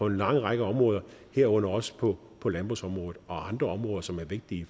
lang række områder herunder også på på landbrugsområdet og andre områder som er vigtige i